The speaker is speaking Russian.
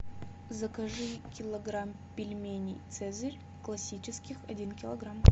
закажи килограмм пельменей цезарь классических один килограмм